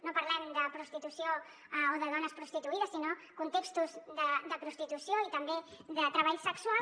no parlem de prostitució o de dones prostituïdes sinó contextos de prostitució i també de treball sexual